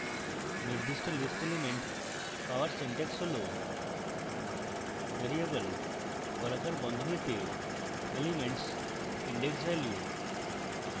নির্দিষ্ট list element পাওয়ার syntax হল